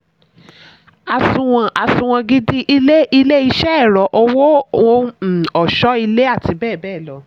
àsunwon àsunwon gidi: ilé ilé-iṣẹ́ ẹ̀rọ owó ohun um ọ̀ṣọ́-ilé àti bẹ́ẹ̀bẹ́ẹ̀ lọ.